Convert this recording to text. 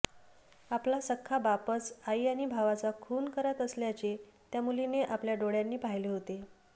आपला सख्खा बापच आई आणि भावाचा खून करत असल्याचे त्या मुलीने आपल्या डोळ्यांनी पाहिले होते